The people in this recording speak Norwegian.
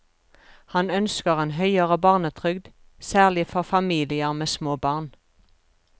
Han ønsker en høyere barnetrygd, særlig for familier med små barn.